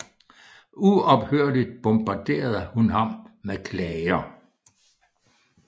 Uophørligt bombarderede hun ham med klager